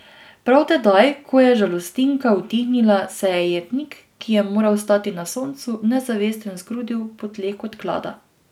Prav tedaj, ko je žalostinka utihnila, se je jetnik, ki je moral stati na soncu, nezavesten zgrudil po tleh kot klada.